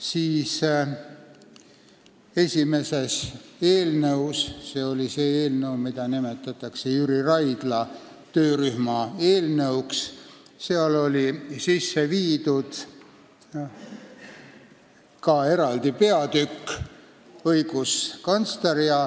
Esimeses põhiseaduse eelnõus – see oli see eelnõu, mida nimetatakse Jüri Raidla töörühma eelnõuks – oli ka eraldi peatükk "Õiguskantsler".